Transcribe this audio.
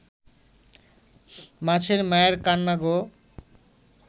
মাছের মায়ের কান্না গো